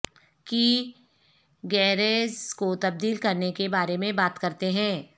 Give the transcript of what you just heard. کی گیئرز کو تبدیل کرنے کے بارے میں بات کرتے ہیں